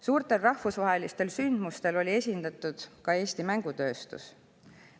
Suurtel rahvusvahelistel sündmustel oli esindatud ka Eesti mängutööstus.